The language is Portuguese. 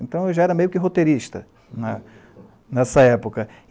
Então, eu já era meio que roteirista, nessa época.